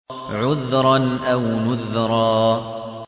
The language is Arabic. عُذْرًا أَوْ نُذْرًا